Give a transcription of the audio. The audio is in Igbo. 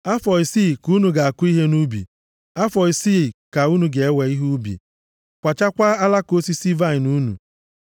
Afọ isii ka unu ga-akụ ihe nʼubi, afọ isii ka unu ga-ewe ihe ubi, kwachaakwa alaka osisi vaịnị unu.